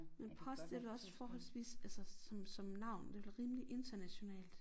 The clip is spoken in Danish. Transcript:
Men post det vel også forholdsvist altså sådan som navn det vel rimelig internationalt